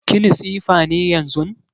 Kini tsifa ne yanzun?